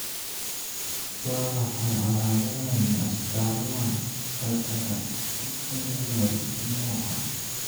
Waa maxay calaamadaha iyo astamaha cataract Hutterite nooca?